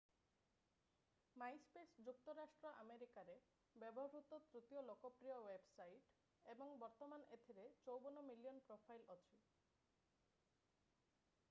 MySpace ଯୁକ୍ତରାଷ୍ଟ୍ର ଆମେରିକାରେ ବ୍ୟବହୃତ ତୃତୀୟ ଲୋକପ୍ରିୟ ୱେବସାଇଟ୍ ଏବଂ ବର୍ତ୍ତମାନ ଏଥିରେ 54 ମିଲିଅନ୍ ପ୍ରୋଫାଇଲ୍ ଅଛି